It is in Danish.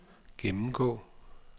gennemgå